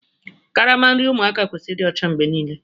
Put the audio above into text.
Karama nri ụmụaka kwesịrị ịdị ọcha mgbe niile